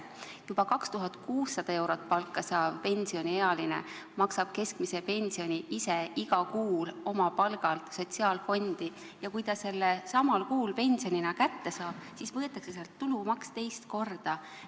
Juba 2600 eurot palka saav pensioniealine maksab keskmise pensioni ise iga kuu oma palgalt sotsiaalfondi ja kui ta selle samal kuul pensionina kätte saab, siis võetakse sealt tulumaks teist korda maha.